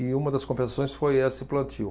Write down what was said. E uma das compensações foi esse plantio.